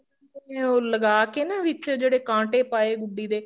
ਨਹੀਂ ਉਹ ਲਗਾ ਕੇ ਨਾ ਵਿੱਚ ਜਿਹੜੇ ਕਾਟੇ ਪਾਏ ਗੁੱਡੀ ਦੇ